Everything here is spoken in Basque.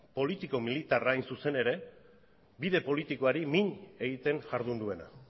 politiko militarra hain zuzen ere bide politikoari min egiten jardun duena